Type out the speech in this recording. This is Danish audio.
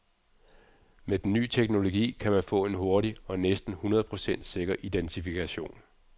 Med den nye teknologi kan man få en hurtig og næsten hundrede procent sikker identifikation.